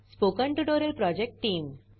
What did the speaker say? spoken tutorial project team